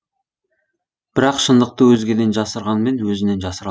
бірақ шындықты өзгеден жасырғанмен өзінен жасыра